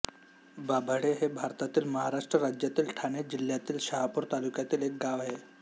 बाभाळे हे भारतातील महाराष्ट्र राज्यातील ठाणे जिल्ह्यातील शहापूर तालुक्यातील एक गाव आहे